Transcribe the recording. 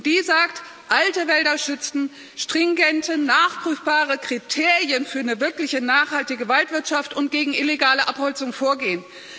Die sagt Alte Wälder schützen, stringente, nachprüfbare Kriterien für eine wirklich nachhaltige Waldwirtschaft und gegen illegale Abholzung vorgehen.